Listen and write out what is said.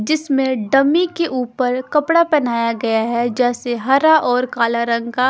जिसमें डमी के ऊपर कपड़ा पहनाया गया है जैसे हरा और काला रंग का--